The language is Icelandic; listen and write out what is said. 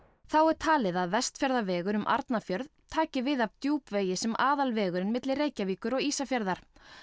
þá er talið að Vestfjarðavegur um Arnarfjörð taki við af Djúpvegi sem milli Reykjavíkur og Ísafjarðar